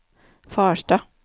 Farstad